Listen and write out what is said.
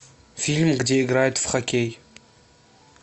фильм где играют в хоккей